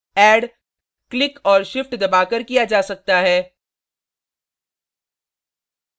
add click और shift दबाकर किया जा सकता है